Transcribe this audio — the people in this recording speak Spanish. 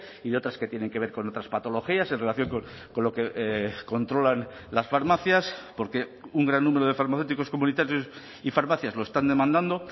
y de otras que tienen que ver con otras patologías en relación con lo que controlan las farmacias porque un gran número de farmacéuticos comunitarios y farmacias lo están demandando